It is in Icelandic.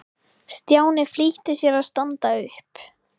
Stjáni flýtti sér að standa upp.